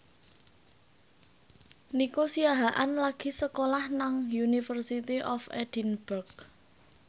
Nico Siahaan lagi sekolah nang University of Edinburgh